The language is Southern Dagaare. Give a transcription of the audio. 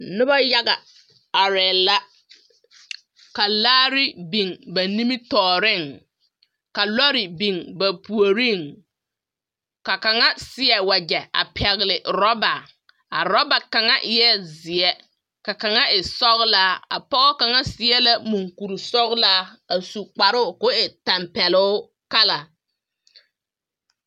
Noba yaga arԑԑ la, ka laare biŋ ba nimitͻͻreŋ, ka lͻre biŋ ba puoriŋ. Ka kaŋa a seԑ wagyԑ a pԑgele orͻba. A orͻba kaŋa eԑԑ zeԑ, ka kaŋa e sͻgelaa. A pͻge kaŋa seԑ la moŋkurisͻgelaa a su kparoŋ koo e tampԑloo kala.